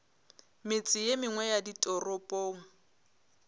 metse ye mengwe ya ditoropong